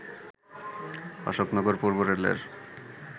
অশোকনগর পূর্ব রেলের